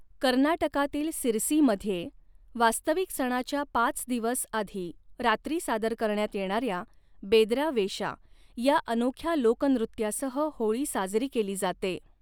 कर्नाटकातील सिरसीमध्ये, वास्तविक सणाच्या पाच दिवस आधी रात्री सादर करण्यात येणाऱ्या 'बेदरा वेशा' या अनोख्या लोकनृत्यासह होळी साजरी केली जाते.